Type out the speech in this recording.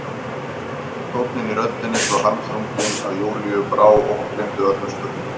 Tónninn í röddinni svo harmþrunginn að Júlíu brá og hún gleymdi öllum spurningum.